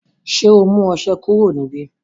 ṣe ọ mú ọṣẹ kúrò níbí